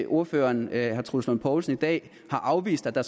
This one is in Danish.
ordføreren herre troels lund poulsen i dag har afvist at der